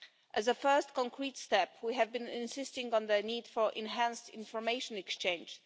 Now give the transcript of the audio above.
As a first concrete step, we have been insisting on the need for enhanced information exchange.